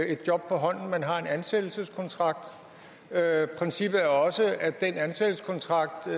et job på hånden man har en ansættelseskontrakt princippet er også at det af ansættelseskontrakten